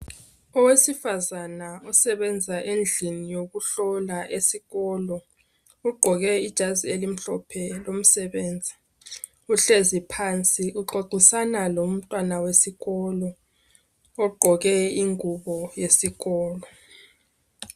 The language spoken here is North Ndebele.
Owesifazana osebenza endlini yokuhlola esikolo ugqoke ijazi elimhlophe lomsebenzi. Uhlezi phansi uxoxisana lomntwana wesikolo ogqqoke ingubo yesikolo.